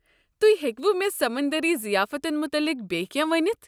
تہۍ ہیٚکوٕ مےٚ سمندٔرِی ضیافتن متعلِق بییٚہِ کٮ۪نٛہہ ؤنِتھ؟